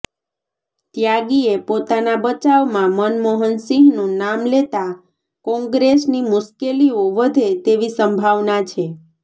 ત્યાગીએ પોતાના બચાવમાં મનમોહનસિંહનું નામ લેતાં કોંગ્રેસની મુશ્કેલીઓ વધે તેવી સંભાવના છે